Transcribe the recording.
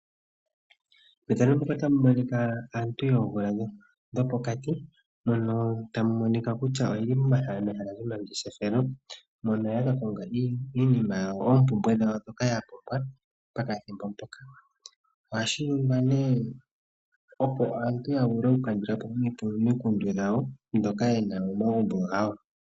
Aantu yoomvula dhopokati yeli mehala lyomangeshefelo yakakonga iinima yawo oompumbwe dhawo dhopokathimbo. Ohashi ningwa, opo aantu yakandulepo oompumbwe dhawo.